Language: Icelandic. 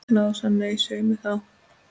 Lása, nei, svei mér þá.